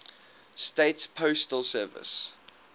states postal service